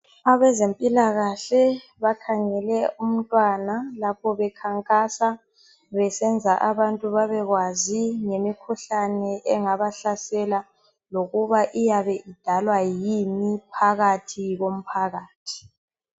Abezempilakahle bakhangele umntwana lapho bekhankasa besenzela ukuthi babekwazi ngomkhuhlane engaba hlasela lokuba iyabe idalwa yini phakathi komphakathi.